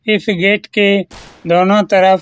इस गेट के दोनों तरफ --